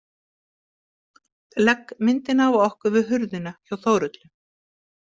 Legg myndina af okkur við hurðina hjá Þórhöllu.